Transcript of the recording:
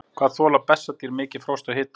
Hvað þola bessadýr mikið frost og hita?